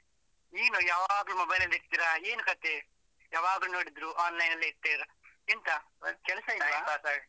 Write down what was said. ನೀವು ಯಾವಾಗ್ಲೂ mobile ಅಲ್ಲಿ ಇರ್ತೀರ ಏನ್ ಕಥೆ? ಯಾವಾಗ ನೋಡಿದ್ರು online ಅಲ್ಲಿ ಇರ್ತೀರ ಎಂತ ಕೆಲಸ ಇಲ್ವಾ?